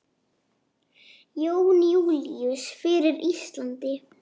Jón Júlíus: Fyrir Íslandi?